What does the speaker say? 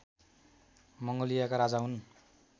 मङ्गोलियाका राजा हुन्